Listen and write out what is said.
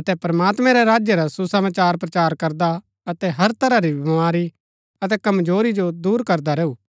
अतै प्रमात्मैं रै राज्य रा सुसमाचार प्रचार करदा अतै हर तरह री बमारी अतै कमजोरी जो दूर करदा रैऊ